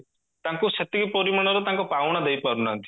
ତାଙ୍କୁ ସେତିକି ପରିମାଣର ତାଙ୍କ ପାଉଣା ଦେଇପାରୁନାହାନ୍ତି